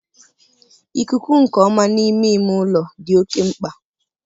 ikuku nke ọma n'ime ime ụlọ dị oke mkpa.